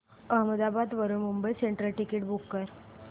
अहमदाबाद वरून Mumbai central ticket book कर